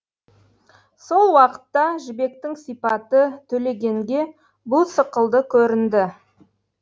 сол уақытта жібектің сипаты төлегенге бұ сықылды көрінді